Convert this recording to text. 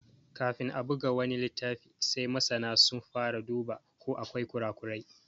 Kafin a buga wani littafi sai masana sun fara dubawa ko akwai ƙura ƙurai.